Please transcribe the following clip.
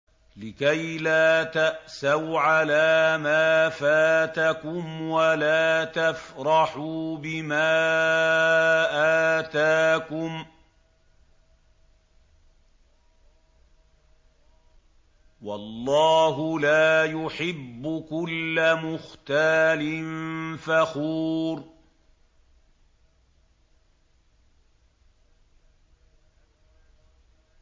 لِّكَيْلَا تَأْسَوْا عَلَىٰ مَا فَاتَكُمْ وَلَا تَفْرَحُوا بِمَا آتَاكُمْ ۗ وَاللَّهُ لَا يُحِبُّ كُلَّ مُخْتَالٍ فَخُورٍ